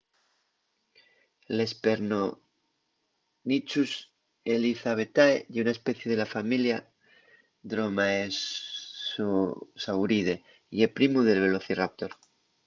l’hesperonychus elizabethae ye una especie de la familia dromaeosauride y ye primu del velociraptor